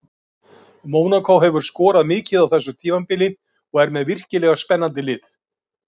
Mónakó hefur skorað mikið á þessu tímabili og er með virkilega spennandi lið.